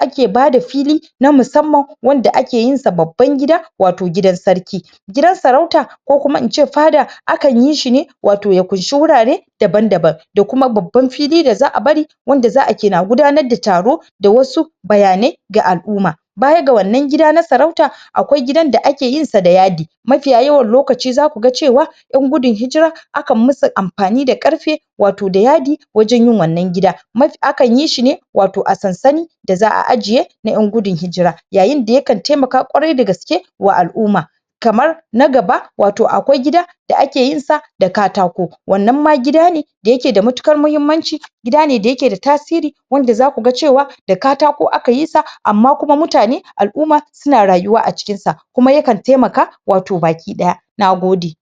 ake bada fili Kuma musamman wanda ake yinsa babban gida Wato gidan sarki Gidan sarauta ko kuma ince faɗa Akan yishi ne Wato ya ƙunshi wurare Daban daban Da kuma babban fili da za'a bari Wanda za'a ringa gudanar da taro Da wasu bayanai Ga al'umma Bayan ga wannan gida na sarauta Akwai gidan da ake yinsa da yadi Mafiya yawan lokaci zaku ga cewa Yan gudun hijira Akan masu amfani da ƙarfe Wato da yadi Wajen yin wannan gida Mafi akan yishi ne Wato a sansani Da za'a ajiye Na yan gudun hijira Yayin da yakan taimaka kwarai da gaske Wa al'umm Kamar Na gaba Wato akwai gida Da ake yinsa Da katako Wannan ma gida ne D yake da matukar mahimmanci Gida ne da yake da tasiri Wanda zaku ga cewa Da katako aka yisa Amma kuma mutane, al'umma Suna rayuwa a cikin sa Kuma yakan taimaka wato baki daya Na gode